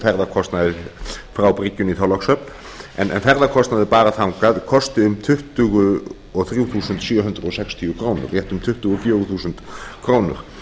ferðakostnaði frá bryggjunni í þorlákshöfn en ferðakostnaður bara þangað kosti um tuttugu og þrjú þúsund sjö hundruð sextíu krónur rétt um tuttugu og fjögur þúsund krónur